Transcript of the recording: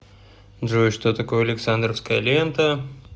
джой что такое александровская лента